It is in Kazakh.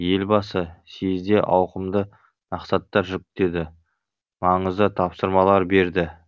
елбасы съезде ауқымды мақсаттар жүктеді маңызды тапсырмалар берді